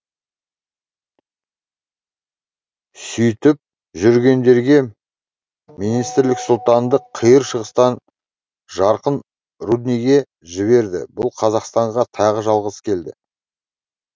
сөйтіп жүргендерге министрлік сұлтанды қиыр шығыстан жарқын рудниге жіберді бұл қазақстанға тағы жалғыз келді